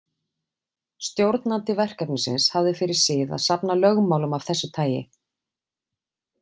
Stjórnandi verkefnisins hafði fyrir sið að safna lögmálum af þessu tagi.